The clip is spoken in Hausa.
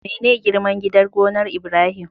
Mene girman gidan gonar Ibrahim?